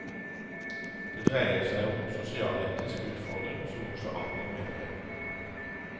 Det dreier seg om en sosialetisk utfordring som også angår menighetene.